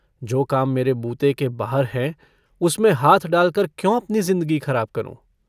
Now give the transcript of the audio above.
जो काम मेरे बूते के बाहर है, उसमें हाथ डाल कर क्यों अपनी जिन्दगी खराब करूंँ।